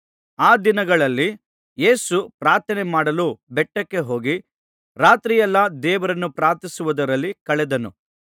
ಆ ದಿನಗಳಲ್ಲಿ ಯೇಸು ಪ್ರಾರ್ಥನೆ ಮಾಡಲು ಬೆಟ್ಟಕ್ಕೆ ಹೋಗಿ ರಾತ್ರಿಯೆಲ್ಲಾ ದೇವರನ್ನು ಪ್ರಾರ್ಥಿಸುವುದರಲ್ಲಿ ಕಳೆದನು